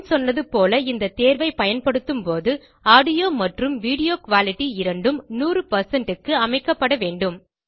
முன் சொன்னதுபோல இந்த தேர்வை பயன்படுத்தும்போது ஆடியோ மற்றும் வீடியோ குயாலிட்டி இரண்டும் 100க்கு அமைக்கப்பட வேண்டும்